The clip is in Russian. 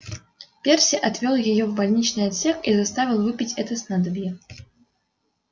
перси отвёл её в больничный отсек и заставил выпить это снадобье